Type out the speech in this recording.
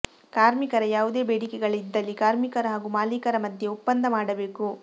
ಕಾರ್ಮಿಕರ ಯಾವುದೇ ಬೇಡಿಕೆಗಳಿದ್ದಲ್ಲಿ ಕಾರ್ಮಿಕರು ಹಾಗೂ ಮಾಲೀಕರ ಮಧ್ಯೆ ಒಪ್ಪಂದ ಮಾಡಬೇಕು